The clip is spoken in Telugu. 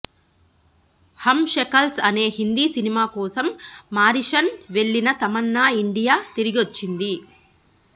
హమ్ షకల్స్ అనే హిందీ సినిమా కోసం మారిషస్ వెళ్ళిన తమన్నా ఇండియా తిరిగొచ్చింది